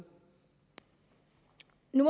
nu